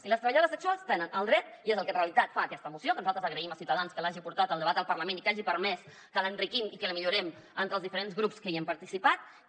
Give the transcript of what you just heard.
i les treballadores sexuals tenen el dret i és el que en realitat fa aquesta moció que nosaltres agraïm a ciutadans que l’hagi portat al debat al parlament i que hagi permès que l’enriquim i que la millorem entre els diferents grups que hi hem participat